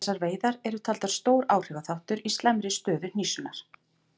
Þessar veiðar eru taldar stór áhrifaþáttur í slæmri stöðu hnísunnar.